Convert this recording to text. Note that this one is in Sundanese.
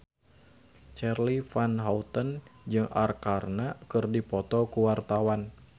Charly Van Houten jeung Arkarna keur dipoto ku wartawan